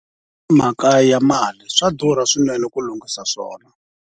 I mhaka ya mali, swa durha swinene ku lunghisa swona.